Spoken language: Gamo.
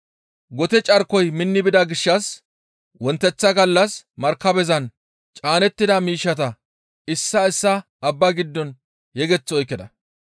Gote carkoy minni bida gishshas wonteththa gallas markabezan caanettida miishshata issaa issaa abba giddo yegeth oykkida.